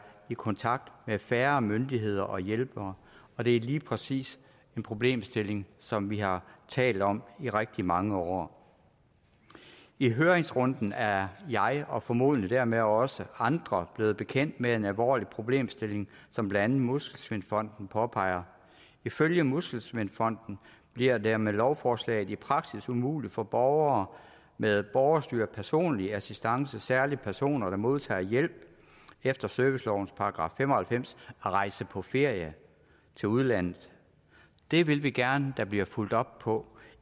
i kontakt med færre myndigheder og hjælpere og det er lige præcis en problemstilling som vi har talt om i rigtig mange år i høringsrunden er jeg og formodentlig dermed også andre blevet bekendt med en alvorlig problemstilling som blandt andet muskelsvindfonden påpeger ifølge muskelsvindfonden bliver det med lovforslaget i praksis umuligt for borgere med borgerstyret personlig assistance særlig personer der modtager hjælp efter servicelovens § fem og halvfems at rejse på ferie til udlandet det vil vi gerne der bliver fulgt op på